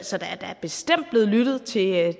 så der er da bestemt blevet lyttet til